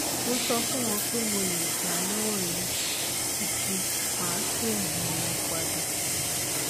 mo so fun won pe mo le gba lowo yi ati ma pe um won pada